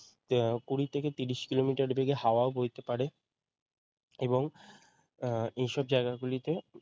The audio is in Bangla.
কুড়ি থেকে তিরিশ কিলোমিটার বেগে হাওয়া বইতে পারে এবং উম এই সব জায়গাগুলোতে